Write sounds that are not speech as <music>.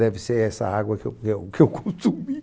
Deve ser essa água que eu eu que eu consumi. <laughs>